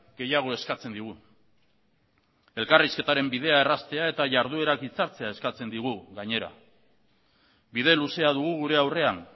gehiago eskatzen digu elkarrizketaren bidea erraztea eta jarduerak hitzartzea eskatzen digu gainera bide luzea dugu gure aurrean